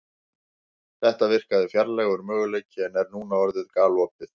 Þetta virkaði fjarlægur möguleiki en er núna orðið galopið.